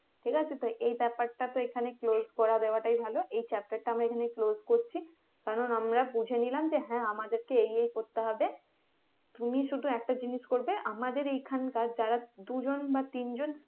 ঠিক আছে তো এই ব্যাপারটা তো এখানে close করে দেওয়াটাই ভালো এই chapter টা আমরা এখানেই close করছি কারণ আমরা বুঝে নিলাম যে হ্যাঁ আমাদেরকে এই এই করতে হবে তুমি শুধু একটা জিনিস করবে আমাদের এই খানকার যারা দুজন বা তিনজন